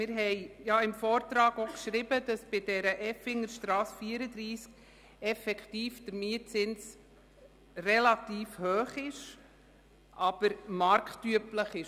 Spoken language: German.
Wir haben im Vortrag geschrieben, dass bei der Effingerstrasse 34 der Mietzins effektiv relativ hoch, aber marktüblich ist.